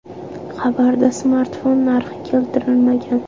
Xabarda smartfon narxi keltirilmagan.